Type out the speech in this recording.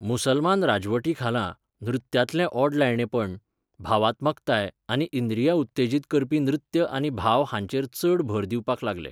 मुसलमान राजवटीखाला, नृत्यांतलें ओडलायणेंपण, भावात्मकताय आनी इंद्रियां उत्तेजीत करपी नृत्य आनी भाव हांचेर चड भर दिवपाक लागले.